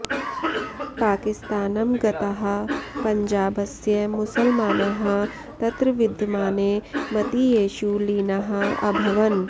पाकिस्तानं गताः पञ्जाबस्य मुसल्मानाः तत्रविद्यमाने मतीयेषु लीनाः अभवन्